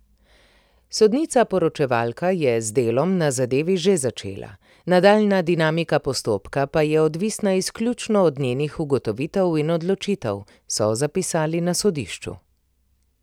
Sodnica poročevalka je z delom na zadevi že začela, nadaljnja dinamika postopka pa je odvisna izključno od njenih ugotovitev in odločitev, so zapisali na sodišču.